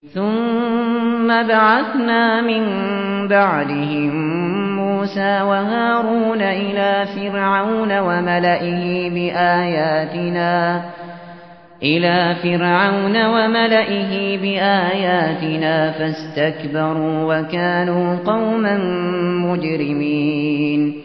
ثُمَّ بَعَثْنَا مِن بَعْدِهِم مُّوسَىٰ وَهَارُونَ إِلَىٰ فِرْعَوْنَ وَمَلَئِهِ بِآيَاتِنَا فَاسْتَكْبَرُوا وَكَانُوا قَوْمًا مُّجْرِمِينَ